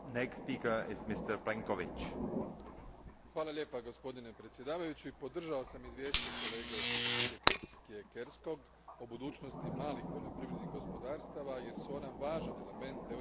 Gospodine predsjedavajući, podržavao sam izvješće kolege Siekierskog o budućnosti malih poljoprivrednih gospodarstava jer su ona važan element europskog poljoprivrednog modela i razvoja ruralnih područja.